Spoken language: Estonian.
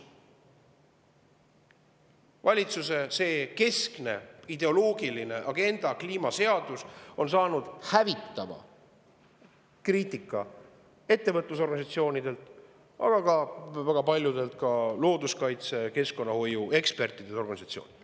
Valitsuse keskne ideoloogiline agenda – kliimaseadus – on saanud hävitavat kriitikat ettevõtlusorganisatsioonidelt, aga ka väga paljudelt looduskaitse- ja keskkonnahoiuekspertidelt, -organisatsioonidelt.